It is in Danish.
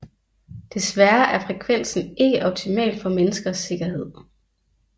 Desværre er frekvensen ikke optimal for menneskers sikkerhed